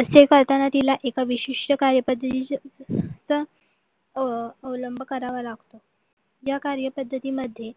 असे करताना तिला एक विशिष्ट कार्यपद्धतीचे अह अवलंब करावा लागतो या कार्यपद्धती मध्ये